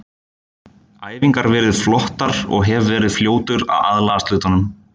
Æfingar verið flottar og hef verið fljótur að aðlagast hlutunum.